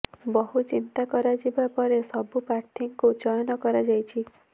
ବହୁ ଚିନ୍ତା କରାଯିବା ପରେ ସବୁ ପ୍ରାର୍ଥୀଙ୍କୁ ଚୟନ କରାଯାଇଛି